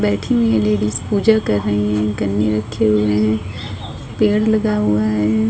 बैठी हुई है लेडीज़ पूजा कर रही है गन्ने रखे हुए हैं पेड़ लगा हुआ है।